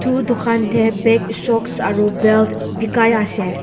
aru dukan tae bag socks aru belt bekai ase.